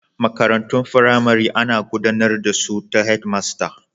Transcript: Makarantun firamare ana gudanar da su ta Head master